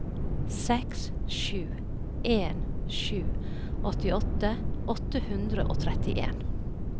seks sju en sju åttiåtte åtte hundre og trettien